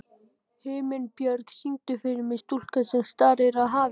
Himinbjörg, syngdu fyrir mig „Stúlkan sem starir á hafið“.